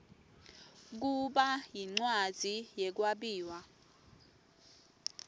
kuba yincwadzi yekwabiwa